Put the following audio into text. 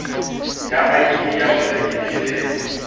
ya id ya morekisi le